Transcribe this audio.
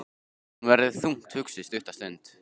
Hún verður þungt hugsi stutta stund.